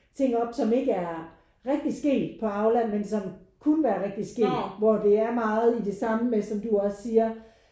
Ting op som ikke er rigtig sket på Aula men som kunne være rigtig sket hvor det er meget i det samme med som du også siger